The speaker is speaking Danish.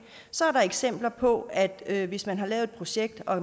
er der eksempler på at det hvis man har lavet et projekt og